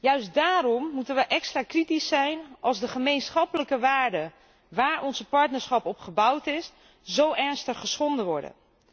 Juist daarom moeten wij extra kritisch zijn als de gemeenschappelijke waarden waar ons partnerschap op gebouwd is, zo ernstig geschonden worden.